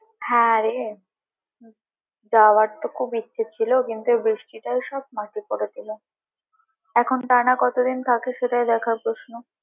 হ্যাঁ রে যাওয়ার তো খুব ইচ্ছে ছিল কিন্তু বৃষ্টিটাই সব মাটি করে দিলো এখন টানা কতদিন থাকে সেটাই দেখার প্রশ্ন।